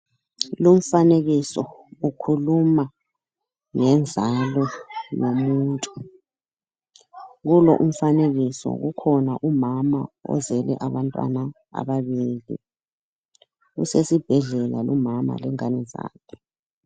Lumfanekiso ukhuluma ngenzalo yomuntu, kulo umfanekiso kukhona umama ozele abantwana ababili esesibhedlela lumama lengane zakhe.